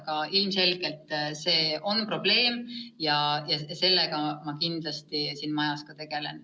Aga ilmselgelt see on probleem ja sellega ma kindlasti tegelen.